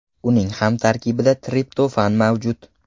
Uning ham tarkibida triptofan mavjud.